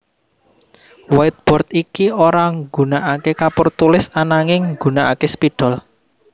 Whiteboard iki ora nggunakaké kapur tulis ananging nggunakaké spidol